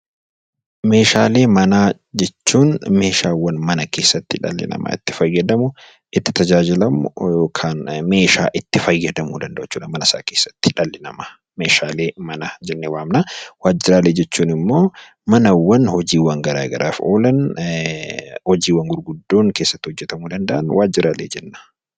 Meeshaalee manaa jechuun meeshaawwan mana keessa tti dhalli namaa itti fayyadamu, itti tajaajilamu yookaan meeshaa itti fayyadamuu danda'u jechuu dha mana isaa keessatti dhalli namaa 'Meeshaalee manaa' jennee waamna. Waajjiraalee jechuun immoo manawwan hojiiwwan gara garaaf oolan, hojiiwwan gurguddoon keessatti hojjetamuu danda'an 'Waajjiraalee' jenna.